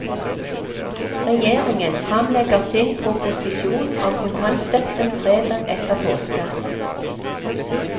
Regjeringen fremlegger sin proposisjon om kontantstøtten fredag etter påske.